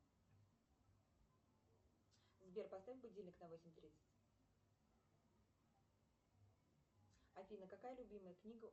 сбер поставь будильник на восемь тридцать афина какая любимая книга